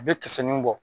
A bɛ kisɛ nin bɔ